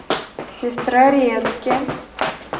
сестрорецке